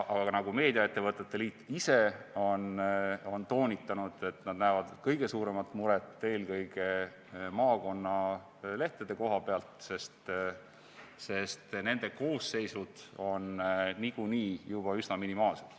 Aga nagu meediaettevõtete liit ise on toonitanud, nad näevad kõige suuremat muret eelkõige maakonnalehtede koha pealt, sest nende koosseisud on niikuinii juba üsna minimaalsed.